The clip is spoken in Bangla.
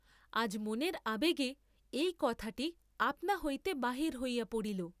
আজ মনের আবেগে এই কথাটি আপনা হইতে বাহির হইয়া পড়িল।